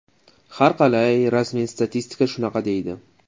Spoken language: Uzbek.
Harqalay, rasmiy statistika shunaqa deydi.